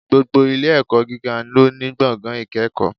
Gbogbo Ilé ẹ̀kọ́ gíga lóní gbọ̀ngàn ìkẹ́kọ̀ọ́